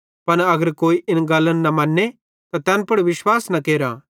पन अगर कोई इन गल्लन न मन्ने त तैन पुड़ विश्वास न केर